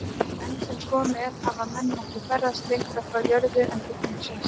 Enn sem komið er hafa menn ekki ferðast lengra frá jörðu en til tunglsins.